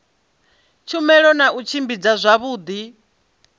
tshumelo na u tshimbidza zwavhudi